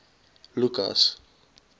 lukas